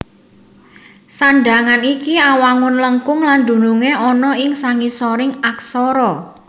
Sandhangan iki awangun lengkung lan dunungé ana ing sangisoring aksara